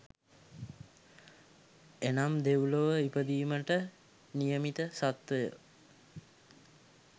එනම් දෙව්ලොව ඉපදීමට නියමිත සත්ත්වයෝ